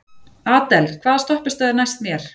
Adel, hvaða stoppistöð er næst mér?